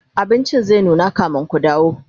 abincin zai nuna kamin Ku dawo